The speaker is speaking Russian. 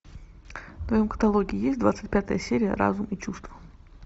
в твоем каталоге есть двадцать пятая серия разум и чувства